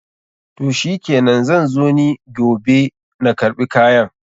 Toh shikenan, zan zo ni giobe na karɓi kayan.